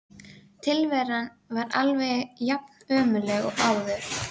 Borginni og létu sennilega ekki lífsgátuna spilla góðum fagnaði.